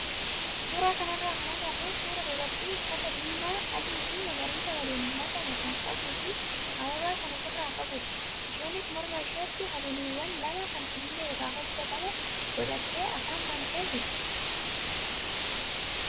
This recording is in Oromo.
Suuraa kanarraa kan agarru suuraa dubartii uffata diimaa, adii fi magariisa waliin makame kan qabuu fi ababaa kan ofirraa qabudha. Isheenis morma isheetti habiliiwwan lama kan sibiila irraa hojjatame godhattee afaan bantee jirti.